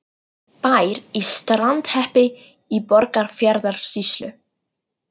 Bær í Strandarhreppi í Borgarfjarðarsýslu.